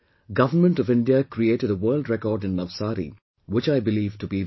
Government of India created a world record in Navsari which I believe to be very important